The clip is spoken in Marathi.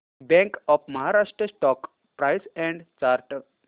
bank of Maharashtra stock price and chart